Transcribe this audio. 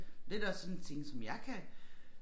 Det også sådan ting som jeg kan